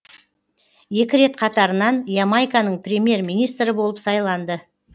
екі рет қатарынан ямайканың премьер министрі болып сайланды